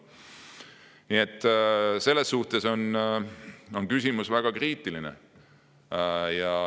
Nii et selles mõttes on küsimus väga kriitiline.